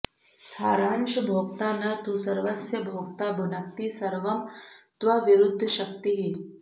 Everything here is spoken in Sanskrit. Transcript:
सारांशभोक्ता न तु सर्वस्य भोक्ता भुनक्ति सर्वं त्वविरुद्धशक्तिः